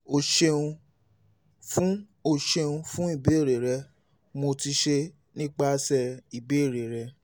o ṣeun fun o ṣeun fun ibeere rẹ mo ti ṣe nipasẹ ibeere rẹ